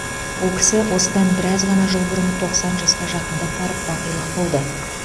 ол кісі осыдан біраз ғана жыл бұрын тоқсан жасқа жақындап барып бақилық болды